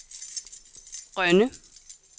Rønne